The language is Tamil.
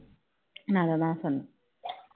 நான் அதை தான் சொன்னேன்